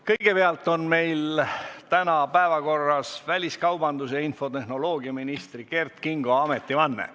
Kõigepealt on meil täna päevakorras väliskaubandus- ja infotehnoloogiaminister Kert Kingo ametivanne.